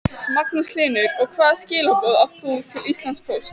Magnús Hlynur: Og hvaða skilaboð átt þú til Íslandspóst?